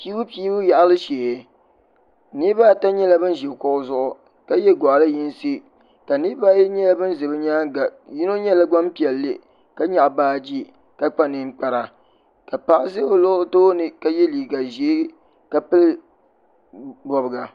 pɛbupɛbu yaɣili shɛɛ niribaata nyɛla ban ʒɛ kuɣ' zuɣ ka yɛ goɣili yinisi niribaayi nyɛla ban ʒɛ be nyɛŋa tino nyɛla gbanpiɛli ka nyɛgi baaji ka kpa nʋkpara ka paɣ' ʒɛ o tuuni ka yɛ liga ʒiɛ ka pɛli bobiga